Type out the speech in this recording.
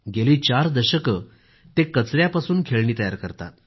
गेली चार दशके ते कचऱ्यामधून खेळणी तयार करतात